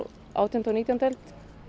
átjándu og nítjándu öld